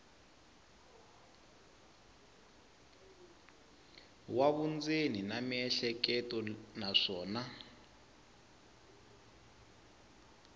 wa vundzeni na miehleketo naswona